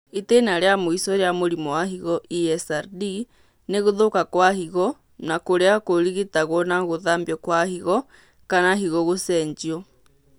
itĩna rĩa mũico rĩa mũrimũ wa higo (ESRD) nĩ gũthũka kwa higo na kũrĩa kũrigitagwo na gũthambio kwa higo kana higo gũcenjio